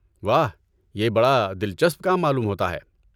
واہ یہ بڑا دلچسپ کام معلوم ہوتا ہے